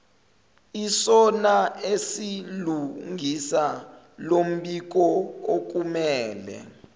isona esilungisa lombikookumele